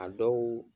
A dɔw